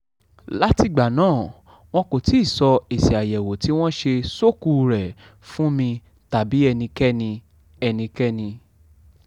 látìgbà náà wọn kò tí ì sọ èsì àyẹ̀wò tí wọ́n ṣe ṣókùú rẹ̀ fún mi tàbí ẹnikẹ́ni ẹnikẹ́ni